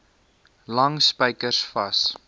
lang spykers vas